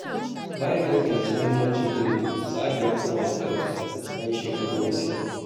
Bayan da ya fahimci muhimmancin ilimi, Sa’ad ya koma makaranta bayan shekaru masu yawa.